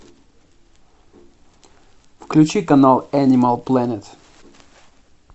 включи канал энимал плэнет